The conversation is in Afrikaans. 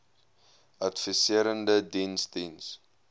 adviserende diens diens